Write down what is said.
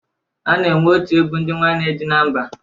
A na-enwe otu egwu ndị nwanne dị na mba.